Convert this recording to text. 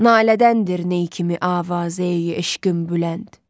Nalədəndir ney kimi Avazeyi eşqin Bülənd.